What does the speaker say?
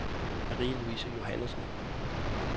Marie-Louise Johannsen